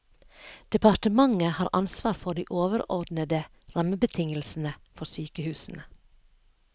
Departementet har ansvar for de overordnede rammebetingelsene for sykehusene.